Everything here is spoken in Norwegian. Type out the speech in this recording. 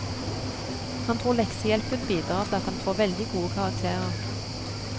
Han tror leksehjelpen bidrar til at han får veldig gode karakterer.